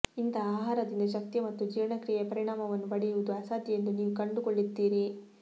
ಇಂತಹ ಆಹಾರದಿಂದ ಶಕ್ತಿಯ ಮತ್ತು ಜೀರ್ಣಕ್ರಿಯೆಯ ಪರಿಣಾಮವನ್ನು ಪಡೆಯುವುದು ಅಸಾಧ್ಯ ಎಂದು ನೀವು ಕಂಡುಕೊಳ್ಳುತ್ತೀರಿ